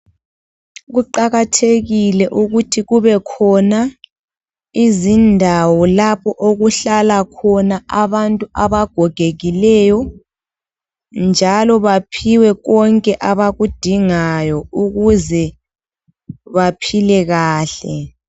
Kuqakathekile ukuthi kubekhona izindawo lapho okuhlala khona abantu abagokekileyo njalo baphiwe konke abakudingayo ukuze baphile kahle.